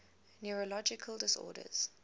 neurological disorders